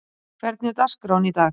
Guðjóna, hvernig er dagskráin í dag?